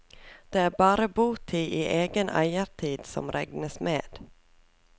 Det er bare botid i egen eiertid som regnes med.